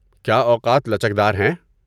کیا اوقات لچک دار ہیں۔